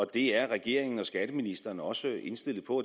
det er regeringen og skatteministeren også indstillet på